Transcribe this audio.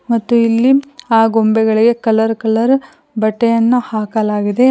ಮತ್ತು ಇಲ್ಲಿ ಆ ಗೊಂಬೆಗಳಿಗೆ ಕಲರ್ ಕಲರ್ ಬಟ್ಟೆಯನ್ನು ಹಾಕಲಾಗಿದೆ.